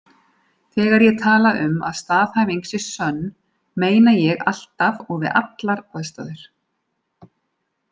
Þegar ég tala um að staðhæfing sé sönn, meina ég alltaf og við allar aðstæður.